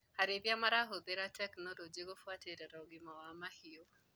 Arĩithia marahũthĩra tekinologĩ kũbuatĩrĩra ũgima wa mahiũ.